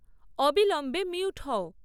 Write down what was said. অবিলম্বে মিউট হও